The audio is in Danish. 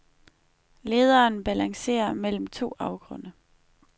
Lederen balancerer mellem to afgrunde.